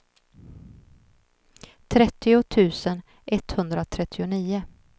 trettio tusen etthundratrettionio